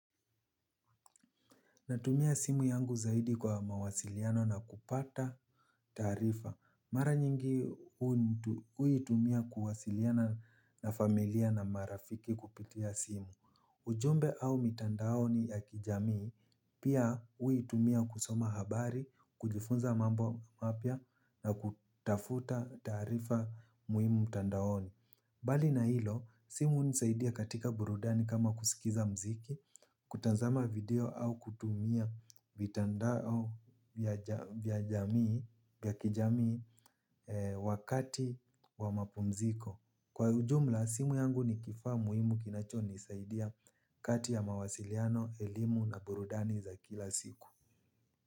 Natumia simu yangu zaidi kwa mawasiliano na kupata taarifa. Mara nyingi huitumia kuwasiliana na familia na marafiki kupitia simu. Ujumbe au mitandaoni ya kijamii, pia huitumia kusoma habari, kujifunza mambo mapya na kutafuta taarifa muhimu mtandaoni. Bali na hilo, simu hunisaidia katika burudani kama kusikiza mziki, kutazama video au kutumia vitandao ya kijamii wakati wa mapumziko. Kwa ujumla, simu yangu ni kifaa muhimu kinacho nisaidia kati ya mawasiliano, elimu na burudani za kila siku.